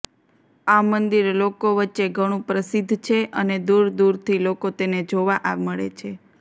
આ મંદિર લોકો વચ્ચે ઘણું પ્રસિદ્ધ છે અને દૂર દૂરથી લોકો તેને જોવા મળે છે